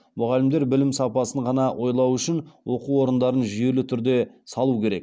мұғалімдер білім сапасын ғана ойлауы үшін оқу орындарын жүйелі түрде салу керек